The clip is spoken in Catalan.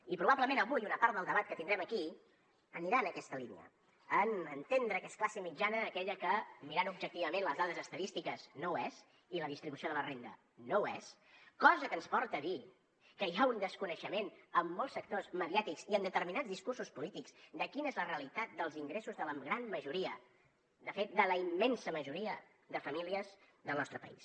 i probablement avui una part del debat que tindrem aquí anirà en aquesta línia en entendre que és classe mitjana aquella que mirant objectivament les dades estadístiques no ho és i la distribució de la renda no ho és cosa que ens porta a dir que hi ha un desconeixement en molts sectors mediàtics i en determinats discursos polítics de quina és la realitat dels ingressos de la gran majoria de fet de la immensa majoria de famílies del nostre país